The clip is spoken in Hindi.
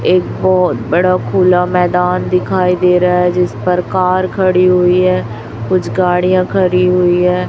एक बहोत बड़ा खुला मैदान दिखाई दे रहा हैं जिस पर कार खड़ी हुई है कुछ गाड़ियां खड़ी हुई है।